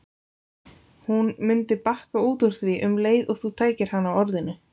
Hún mundi bakka út úr því um leið og þú tækir hana á orðinu.